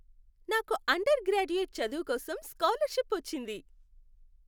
నాకు undergraduate చదువు కోసం స్కాలర్షిప్ వచ్చింది.